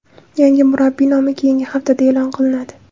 Yangi murabbiy nomi keyingi haftada e’lon qilinadi.